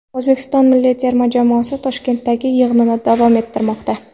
O‘zbekiston milliy terma jamoasi Toshkentdagi yig‘inini davom ettirmoqda.